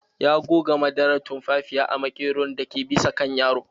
Ya goga madarar tumfafiya a maƙeron dake bisa kan yaron.